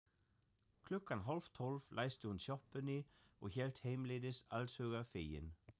Klukkan hálftólf læsti hún sjoppunni og hélt heimleiðis allshugar fegin.